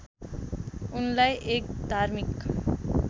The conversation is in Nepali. उनलाई एक धार्मिक